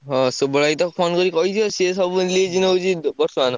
ହଁ ସୁବଳ ଭାଇ ତ phone କରି କହିଛ ସିଏ ସବୁ list ମାଗୁଛି ବର୍ତ୍ତମାନ।